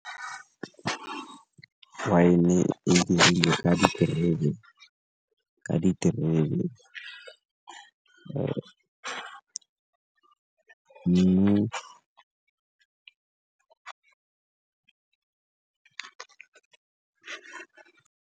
Wine-e e dirilwe ka diterebe.